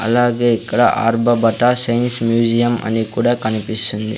అలాగే ఇక్కడ ఆర్బబటా సైన్స్ మ్యూజియం అని కూడా కనిపిస్తుంది.